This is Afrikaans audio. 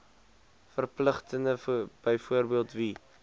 verpligtinge byvoorbeeld wie